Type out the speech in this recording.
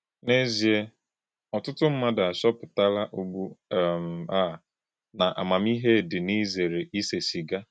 N’èzíè, ọ̀tùtù mmádụ àchọpụ̀tàlá ùgbú um à na àmámíhè dị n’ìzèrè ísè sìgà.